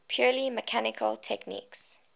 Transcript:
purely mechanical techniques